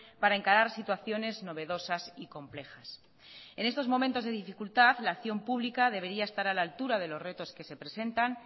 para encarar situaciones novedosas y complejas en estos momentos de dificultad la acción pública debería estar a la altura de los retos que se presentan